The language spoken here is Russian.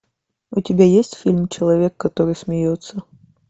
у тебя есть фильм человек который смеется